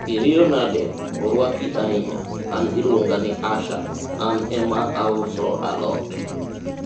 iriyo nade, orwaki ahinya, an iluonga ni asha, an ema auso alot